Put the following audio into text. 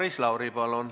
Maris Lauri, palun!